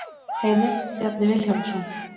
Heimild: Bjarni Vilhjálmsson.